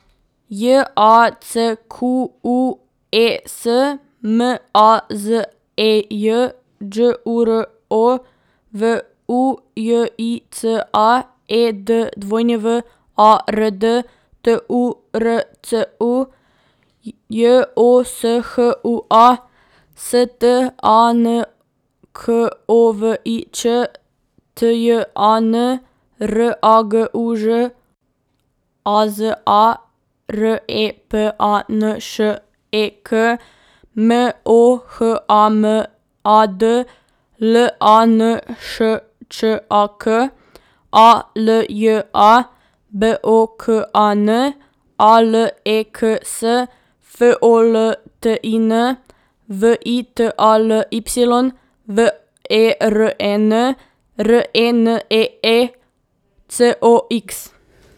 J A C Q U E S, M A Z E J; Đ U R O, V U J I C A; E D W A R D, T U R C U; J O S H U A, S T A N K O V I Ć; T J A N, R A G U Ž; A Z A, R E P A N Š E K; M O H A M A D, L A N Š Č A K; A L J A, B O K A N; A L E K S, F O L T I N; V I T A L Y, V E R E N; R E N E E, C O X.